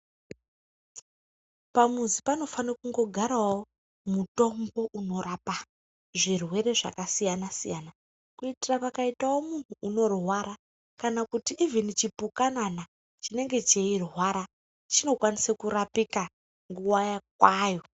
Pamuzi panofane kungogarawo mutombo unorape zvirwere zvakasiyana siyana kuitira pakaitawo muntu unorwara kana kuti ivhini chipukanana chinenge cheirwarwa chinokwanise kurapikawo nguwa kwayo.